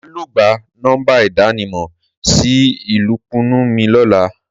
Màá lọ gba nọ́mbà ìdánimọ̀ sí alùpùpù mi lọ́la